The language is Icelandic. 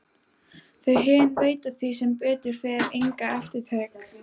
Þau hin veita því sem betur fer enga eftirtekt.